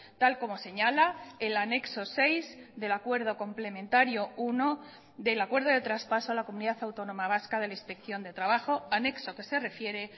tal como señala el anexo seis del acuerdo complementario uno del acuerdo de traspaso a la comunidad autónoma vasca de la inspección de trabajo anexo que se refiere